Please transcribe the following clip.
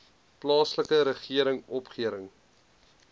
plaaslike regering opgerig